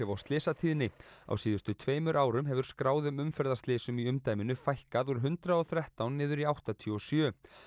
á slysatíðni á síðustu tveimur árum hefur skráðum umferðarslysum í umdæminu fækkað úr hundrað og þrettán niður í áttatíu og sjö